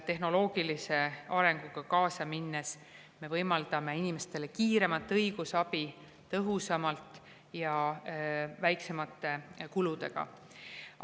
Tehnoloogilise arenguga kaasa minnes me võimaldame inimestele kiiremat õigusabi tõhusamalt ja väiksemate kuludega.